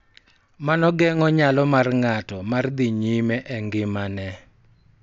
Mano geng�o nyalo mar ng�ato mar dhi nyime e ngimane.